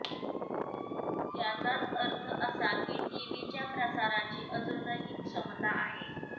याचाच अर्थ असा की टीव्हीच्या प्रसाराची अजूनही क्षमता आहे